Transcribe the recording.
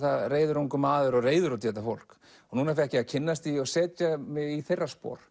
reiður ungur maður og reiður út í þetta fólk núna fékk ég að kynnast því og setja mig í þeirra spor